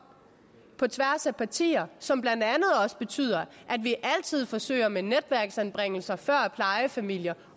på tværs af partier som blandt andet også betyder at vi altid forsøger med netværksanbringelser før plejefamilier